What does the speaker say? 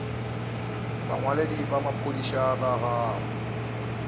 bongwaledi bja maphodisa bja segae